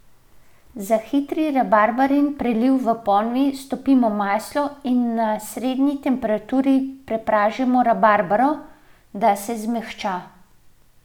Za hitri rabarbarin preliv v ponvi stopimo maslo in na srednji temperaturi pražimo rabarbaro, da se zmehča.